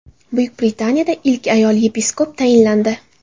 Buyuk Britaniyada ilk ayol yepiskop tayinlandi.